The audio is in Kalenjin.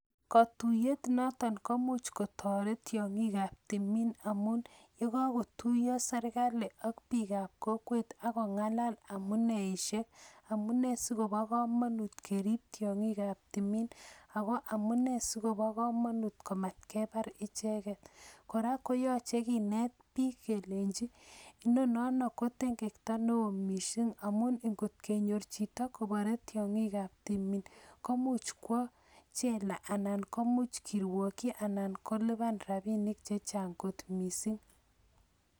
Katuyet noton komuch kotoret tiongi'ikab timiin amun, ye kogotuiyon serikali ak biikab kokwet agong'alal amuneishek, amunee sikobo komanut kerib tiong'ikab timiin ago amunee sikobo komanut ko mat kebar icheget. Kora koyoche kineet biik kelenchi inonano ko tengekto neo missing amun ingot kenyor chito kobare tiong'ikab timiin komuch kwo chela anan komuch kirwokyi anan kolipan rabinik chechang kot missing.